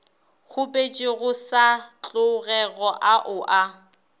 kgopetšego sa tlogego ao a